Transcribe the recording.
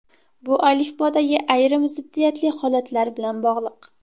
Bu alifbodagi ayrim ziddiyatli holatlar bilan bog‘liq.